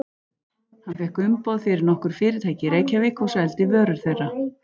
Hann fékk umboð fyrir nokkur fyrirtæki í Reykjavík og seldi vörur þeirra.